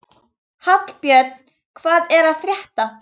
Hallbjörn, hvað er að frétta?